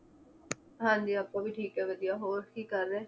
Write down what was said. ਹਾਂਜੀ ਆਪਾਂ ਵੀ ਠੀਕ ਏ ਵਧੀਆ ਹੋਰ ਕੀ ਕਰ ਰਹੇ?